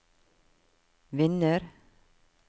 vinner